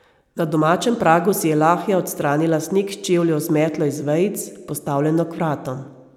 Na domačem pragu si je Lahja odstranila sneg s čevljev z metlo iz vejic, postavljeno k vratom.